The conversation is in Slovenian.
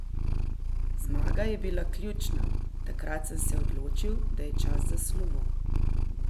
Zmaga je bila ključna, takrat sem se odločil, da je čas za slovo.